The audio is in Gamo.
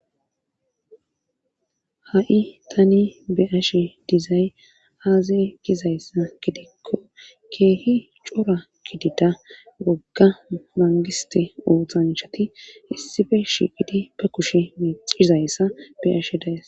Ha'i tani beyashshe dizay aaze gizayssa gidikko keehi cora kidida wogga mangiste ooththancshati issife shiiqidi be kushe mecizayssa be'ashshe dayss